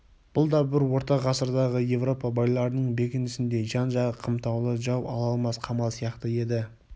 бұл да бір орта ғасырдағы еуропа байларының бекінісіндей жан-жағы қымтаулы жау ала алмас қамал сияқты еді